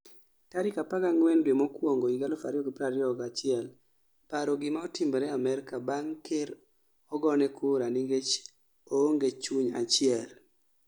tarik 14 Due mokuongo 2021 paro gima otimre Amerka bang' ker ogone kura nikech oonge chuny achiel